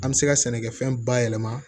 An bɛ se ka sɛnɛkɛfɛn bayɛlɛma